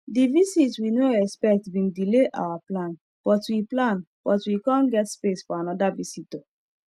the visit we no expect bin delay our plan but we plan but we come get space for another visitor